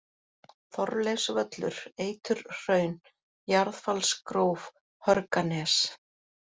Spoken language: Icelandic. Þorleifsvöllur, Eiturhraun, Jarðfallsgróf, Hörganes